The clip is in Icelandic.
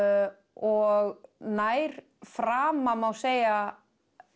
og nær frama má segja